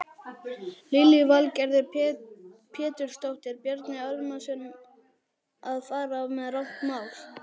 Lillý Valgerður Pétursdóttir: Bjarni Ármannsson að fara með rangt mál?